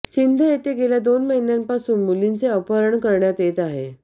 सिंध येथे गेल्या दोन महिन्यांपासून मुलींचे अपहरण करण्यात येत आहे